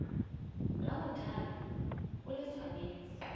la mothale o le tshwanetse